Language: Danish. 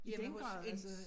I den grad altså